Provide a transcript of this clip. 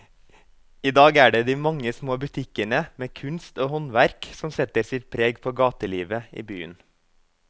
I dag er det de mange små butikkene med kunst og håndverk som setter sitt preg på gatelivet i byen.